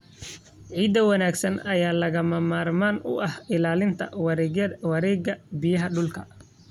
Ciid wanaagsan ayaa lagama maarmaan u ah ilaalinta wareegga biyaha dhulka.